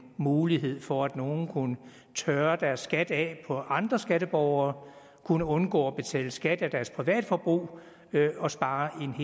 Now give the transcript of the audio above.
mulighed for at nogle kunne tørre deres skat af på andre skatteborgere kunne undgå at betale skat af deres privatforbrug og spare